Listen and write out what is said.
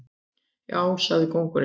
Já, sagði kóngurinn.